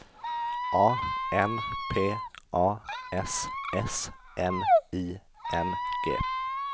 A N P A S S N I N G